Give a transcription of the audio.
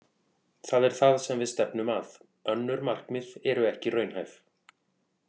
Það er það sem við stefnum að. Önnur markmið eru ekki raunhæf.